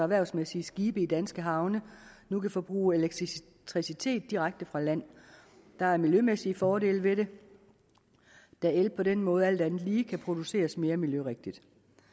erhvervsmæssige skibe i danske havne nu kan forbruge elektricitet direkte fra land der er miljømæssige fordele ved det da el på den måde alt andet lige kan produceres mere miljørigtigt